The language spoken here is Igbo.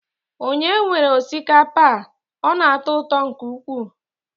Ònye nwere osikapa a? Ọ na-atọ ụtọ nke ukwuu.